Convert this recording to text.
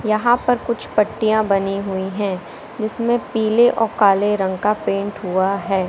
यहाँ पर कुछ पट्टियाँ बनी हुई हैं जिसमें पीले और काले रंग का पेंट हुआ है।